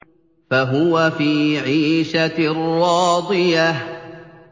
فَهُوَ فِي عِيشَةٍ رَّاضِيَةٍ